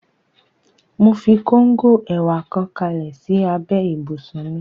Mo fi kóngò ẹ̀wà kan kalẹ̀ sí abẹ́ ibùsùn mi